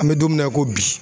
An bɛ don mina i ko bi.